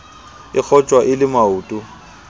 e kgotjwa e le maoto